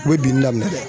U bɛ binni daminɛ dɛ